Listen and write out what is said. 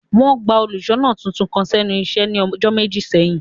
Wọn gba óluṣọna titun kan sẹnu iṣe ni ọjọ meji seyin.